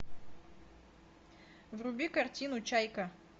вруби картину чайка